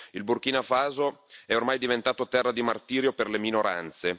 Il Burkina Faso è ormai diventato terra di martirio per le minoranze.